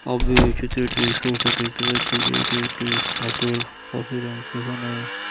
আমি এই চিত্রটি ছবিটি দেখতে পাচ্ছি যে এটি একটি হাতের অফিস আছে এখান--